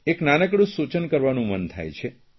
એક નાનકડૂં સૂચન કરવાનું મન થાય છે